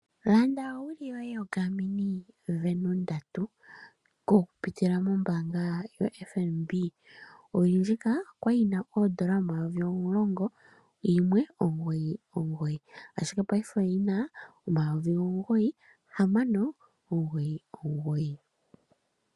Landa owili yoye yoGarmin Venu 3 oku pitila mombanga yaFNB. Owili ndjika okwali yina N$ 10,199 ashike paife oyina N$ 9,699.